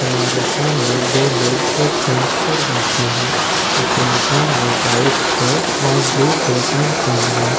हमारे सामने दो लोग एक बेंच पर बैठे हैं एक इंसान ने वाइट शर्ट और ब्लू फुल पैंट पहनी है --